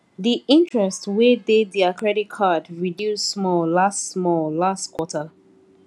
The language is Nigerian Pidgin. the interest wey dey their credit card reduce small last small last quarter